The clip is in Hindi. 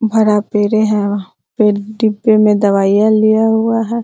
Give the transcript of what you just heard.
हरा पेड़ है वहाँ और डिब्बे में दवाई लिया हुआ है।